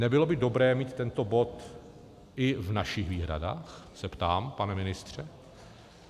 Nebylo by dobré mít tento bod i v našich výhradách, se ptám, pane ministře?